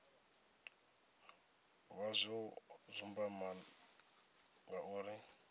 vha zwo dzumbama nga uri